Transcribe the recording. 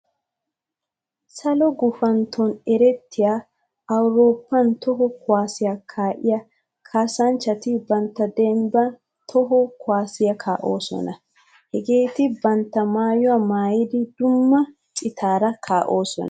Salo gufantton erettiya awuroppan toho kuwasiya kaa'iya kaassanchchatti bantta dembban toho kuwasiya kaa'osonna. Hageetti bantta maayuwa maayiddi dumma citara kaa'osona.